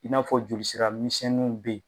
I n'a fɔ joli sira misɛnnu be yen